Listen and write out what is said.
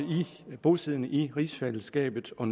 bosiddende i rigsfællesskabet og